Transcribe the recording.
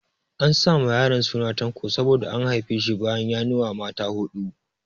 An sa ma yaron suna Tanko saboda an haife shi bayan 'yanuwa mata huɗu.